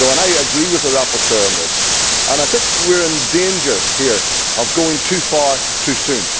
I agree with the rapporteur on this, and I think we are in danger here of going too far too soon.